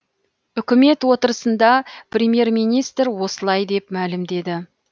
үкімет отырысында премьер министр осылай деп мәлімдеді